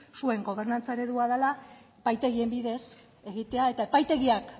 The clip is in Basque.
zuen gobernantza eredua dela epaitegien bidez egitea eta epaitegiak